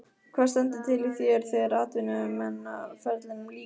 Hvað stendur til hjá þér þegar atvinnumannaferlinum lýkur?